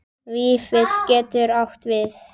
Vífill getur átt við